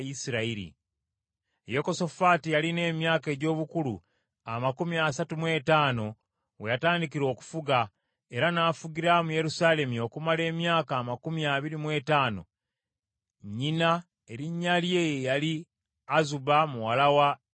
Yekosafaati yalina emyaka egy’obukulu amakumi asatu mu etaano we yatandikira okufuga, era n’afugira mu Yerusaalemi okumala emyaka amakumi abiri mu etaano. Nnyina erinnya lye ye yali Azuba muwala wa Siruki.